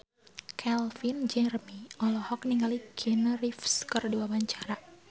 Calvin Jeremy olohok ningali Keanu Reeves keur diwawancara